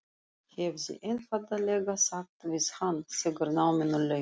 Hefði einfaldlega sagt við hann þegar náminu lauk.